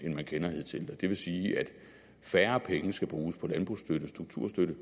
har kendt hidtil det vil sige at færre penge skal bruges på landbrugsstøtte og strukturstøtte